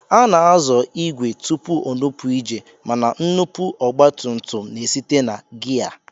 A na-azọ ìgwè tupu o nupụ ije mana nnupụ ọgbatumtum na-esite na giya